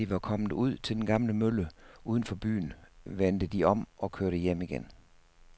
Da de var kommet ud til den gamle mølle uden for byen, vendte de om og kørte hjem igen.